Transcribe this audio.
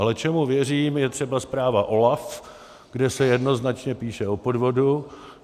Ale čemu věřím, je třeba zpráva OLAF, kde se jednoznačně píše o podvodu.